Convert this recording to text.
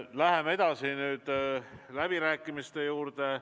Läheme edasi läbirääkimiste juurde.